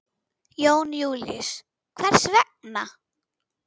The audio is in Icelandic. Jón Júlíus: Hvers vegna?